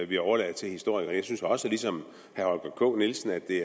vi overlader til historikerne jeg synes også ligesom herre holger k nielsen at det